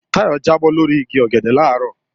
Táyọ̀ jábọ́ lórí igi ọ̀gẹ̀dẹ̀ làárọ̀